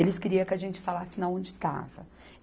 Eles queriam que a gente falasse onde estava.